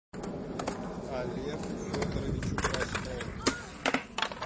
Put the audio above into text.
олегу федоровичу краснову